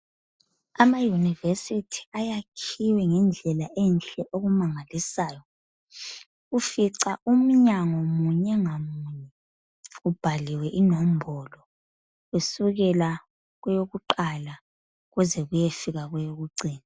Amayunivesithi ayakhiwe ngendlela enhle okumangalisayo. Ufica umnyango munye ngamunye ubhaliwe inombolo, kusukela kweyokuqala kuze kuyefika kweyokucina.